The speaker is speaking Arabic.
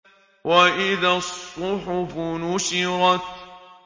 وَإِذَا الصُّحُفُ نُشِرَتْ